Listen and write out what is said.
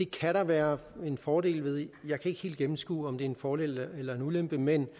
kan der være en fordel ved jeg kan ikke helt gennemskue om det er en fordel eller en ulempe men